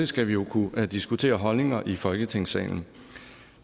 skal vi kunne diskutere holdninger i folketingssalen